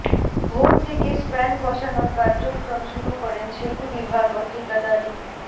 ভোর থেকে স্প্যান বসানোর কার্যক্রম শুরু করেন সেতু বিভাগ ও ঠিকাদারি